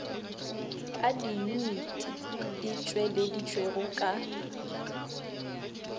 a diyuniti di tšweleditšwego ka